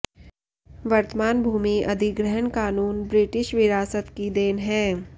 वर्तमान भूमि अधिग्रहण कानून ब्रिटिश विरासत की देन है